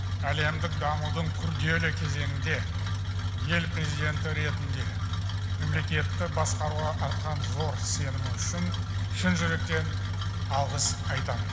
әлемдік дамудың күрделі кезеңінде ел президенті ретінде мемлекетті басқаруға артқан зор сенімі үшін шын жүректен алғыс айтамын